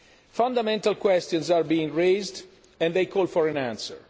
Fundamental questions are being raised and they call for an answer.